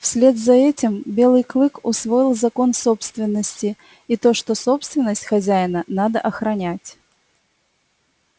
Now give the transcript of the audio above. вслед за этим белый клык усвоил закон собственности и то что собственность хозяина надо охранять